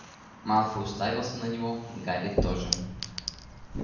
малфой уставился на него гарри тоже